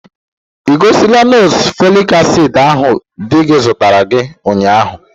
Ị gọsila nọọsụ folic acid ahụ di gi zụtara ụnyaahụ?